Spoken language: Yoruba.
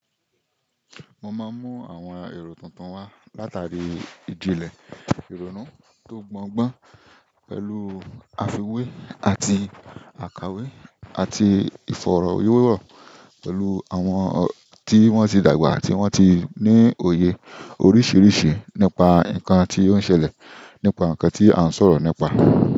Mo máa mú àwọn èrò tuntun wá látàrí ìjìnlẹ̀ ìrònú tó gbọn gbọ́n pẹ̀lú àfiwé àti àkàwé àti ìfọ̀rọ̀ wérọ̀ pẹ̀lú àwọn tí wọ́n ti dàgbà àti wọ́n ti ní òye oríṣiríṣi nípa nǹkan tí ó ń ṣẹlẹ̀, nípa nǹkan tí à ń sọ̀rọ̀ nípa.